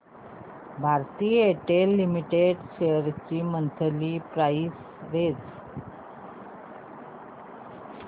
Bharti Airtel limited shares ची monthly price range